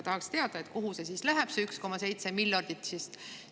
Tahaks teada, kuhu see 1,7 miljardit siis läheb.